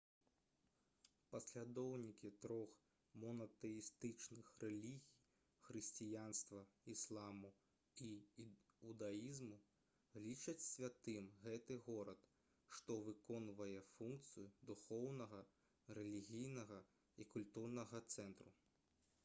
паслядоўнікі трох монатэістычных рэлігій хрысціянства ісламу і іудаізму лічаць святым гэты горад што выконвае функцыю духоўнага рэлігійная і культурнага цэнтру